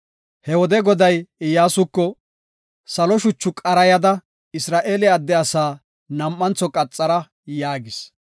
He wode Goday Iyyasuko, “Salo shuchu qarayada Isra7eele adde asaa nam7antho qaxara” yaagis.